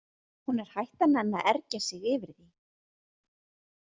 Hún er hætt að nenna að ergja sig yfir því.